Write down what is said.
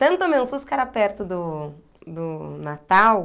Tanto tomei um susto que era perto do do Natal.